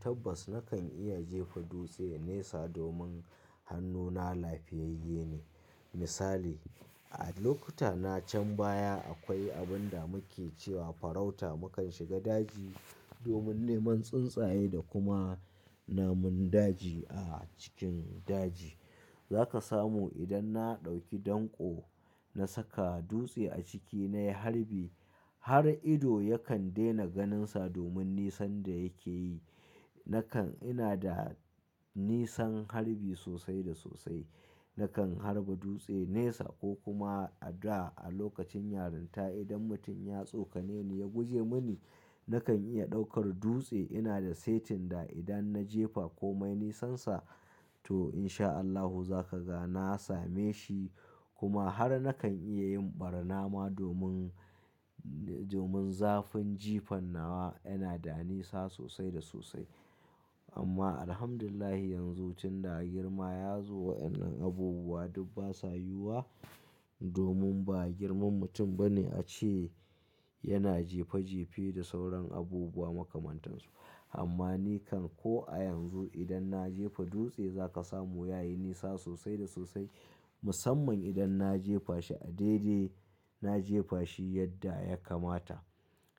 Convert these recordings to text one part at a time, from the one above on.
Tabbas nakan iya jefa dutse nesa domin hannuna lafiyayye ne. Misali, a lokuta na can baya akwai abin da muke cewa farauta mukan shiga daji domin neman tsuntsaye da kuma namun daji a cikin daji. Za ka samu idan na ɗauki danko na saka dutse a ciki na yi harbi. Har ido yakan daina ganinsa domin nisan da yake yi. Nakan ina da nisan harbi sosai da sosai. Nakan harba dutse nesa ko kuma a da a lokacin yarinta idan mutum ya tsokane ni ya guje mini, nakan iya ɗaukar dutse. Ina da setin da idan na jefa komai nisansa to in sha Allahu za ka ga na same shi kuma har nakan iya yin ɓarna ma domin, domin zafin jifan nawa yana da nisa sosai da sosai. Amma Alhamdulillah yanzu tun da girma ya zo waɗannan abubuwa duk ba sa yiwuwa domin ba girman mutum bane a ce yana jefe jefe da sauran abubuwa makamantan su. Amma ni kan ko a yanzu idan na jefa dutse za ka samu ya yi nisa sosai da sosai. Musamman idan na jefa shi a daidai, na jefa shi yadda ya kamata.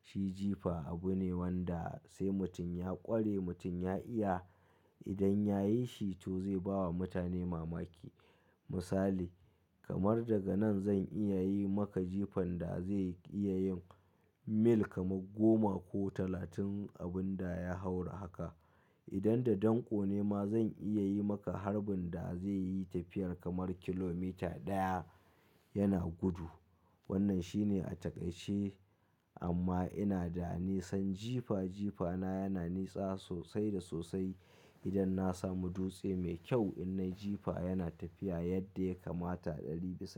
Shi jefa abu ne wanda sai mutum ya ƙware, mutum ya iya. Idan ya yi shi to zai ba wa mutane mamaki. Misali, kamar daga nan zan iya yi maka jifan da zai iya yin mil kamar goma ko talatin abin da ya haura haka. Idan da danko ne ma zan iya yi maka harbin da zai yi tafiyar kamar kilomita ɗaya yana gudu. Wannan shine a taƙaice amma ina da nisan jefa. Jefa na yana nisa sosai da sosai. Idan na samu dutse mai kyau idan na jefa yana tafiya yadda ya kamata ɗari bisa.